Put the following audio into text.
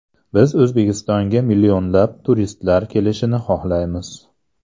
Biz O‘zbekistonga millionlab turistlar kelishini xohlaymiz.